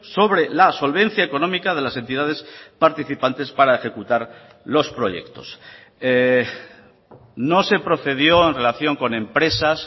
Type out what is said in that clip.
sobre la solvencia económica de las entidades participantes para ejecutar los proyectos no se procedió en relación con empresas